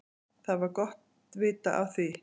Það var gott vita af því.